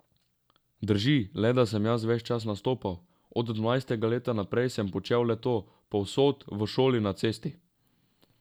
Drži, le da sem jaz ves čas nastopal, od dvanajstega leta naprej sem počel le to, povsod, v šoli, na cesti...